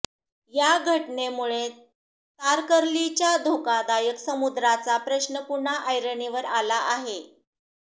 या घटनेमुळे तारकर्लीच्या धोकादायक समुद्राचा प्रश्न पुन्हा ऐरणीवर आला आहे